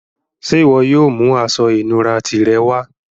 Ṣẹ́ iwo yóò mú àṣọ-ìnúrà tirẹ wà?